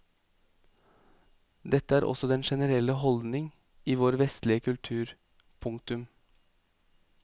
Dette er også den generelle holdning i vår vestlige kultur. punktum